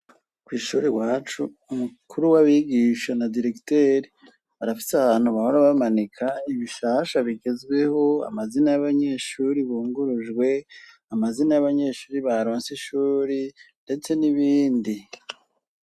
kwishuri wacu umukuru w'abigisha na diregiteri arafise ahantu bahora bamanika ibishasha bigezweho amazina y'abanyeshuri bungurujwe amazina y'abanyeshuri baronsi ishuri ndetse n'ibindi